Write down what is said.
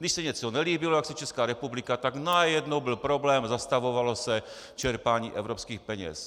Když se něco nelíbilo, jak si Česká republika, tak najednou byl problém, zastavovalo se čerpání evropských peněz.